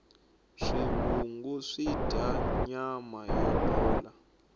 swivungu swidya nama yo bola